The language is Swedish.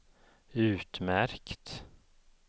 utmärkt